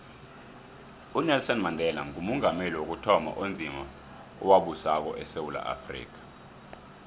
unelson mandela ngumongameli wokuthoma onzima owabusako esewula afrika